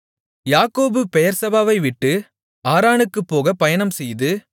யாக்கோபு பெயெர்செபாவை விட்டு ஆரானுக்குப் போகப் பயணம்செய்து